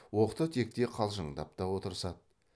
оқта текте қалжыңдап та отырысады